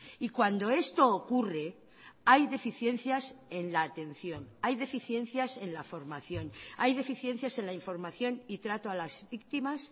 y cuando esto ocurre hay deficiencias en la atención hay deficiencias en la formación hay deficiencias en la información y trato a las víctimas